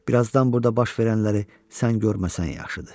Birazdan burda baş verənləri sən görməsən yaxşıdır.